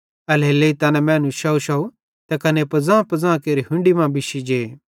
एल्हेरेलेइ तैना मैनू शौवशौव त कने पज़ांपज़ां केरि हुन्डी मां बिश्शी जे